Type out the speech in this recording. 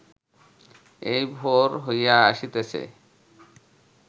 এই ভোর হইয়া আসিতেছে